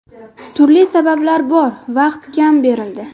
Turli sabablar bor, vaqt kam berildi.